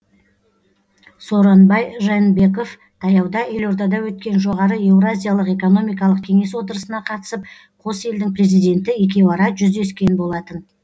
сооронбай жээнбеков таяуда елордада өткен жоғары еуразиялық экономикалық кеңес отырысына қатысып қос елдің президенті екеуара жүздескен болатын